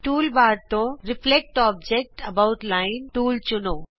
tool bar ਤੇ reflect object about line tool ਚੁਣੋ